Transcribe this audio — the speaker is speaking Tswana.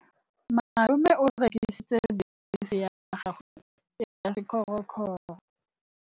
Malome o rekisitse bese ya gagwe ya sekgorokgoro.